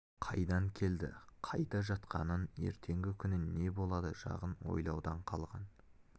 қайдан келді қайда жатқанын ертеңгі күні не болады жағын ойлаудан қалған